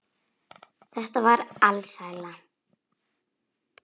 Þetta var alsæla.